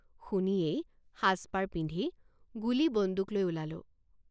শুনিয়েই সাজপাৰ পিন্ধি গুলী বন্দুক লৈ ওলালোঁ।